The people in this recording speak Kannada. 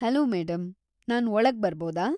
ಹಲೋ ಮೇಡಂ, ನಾನ್‌ ಒಳಗ್‌ ಬರ್ಬೌದಾ?